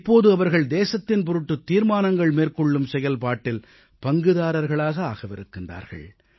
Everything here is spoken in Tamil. இப்போது அவர்கள் தேசத்தின் பொருட்டு தீர்மானங்கள் மேற்கொள்ளும் செயல்பாட்டில் பங்குதாரர்களாக ஆகவிருக்கிறார்கள்